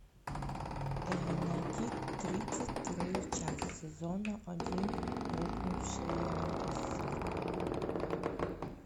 э найди тридцать вторую часть сезона один рухнувшие небеса